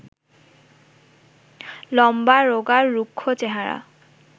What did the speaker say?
লম্বা, রোগা, রুক্ষ, চেহারা